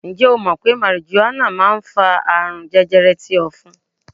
Ǹjẹ́ o mọ̀ pé marijuana máa ń fa àrùn jẹjẹrẹ ti ofun?